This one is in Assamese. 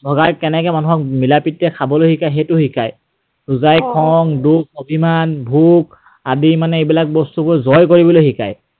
ভগাই কেনেকৈ মানুহক মিলা প্ৰীতিৰে খাবলৈ শিকায় সেইটো শিকায়। ৰোজাই খং, দুখ, অভিমান, ভোক আদি মানে এইবিলাক বস্তু জয় কৰিবলৈ শিকায়।